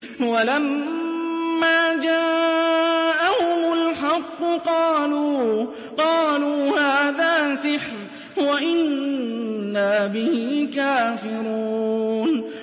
وَلَمَّا جَاءَهُمُ الْحَقُّ قَالُوا هَٰذَا سِحْرٌ وَإِنَّا بِهِ كَافِرُونَ